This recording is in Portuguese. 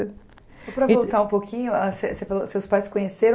Só para voltar um pouquinho seus pais se conheceram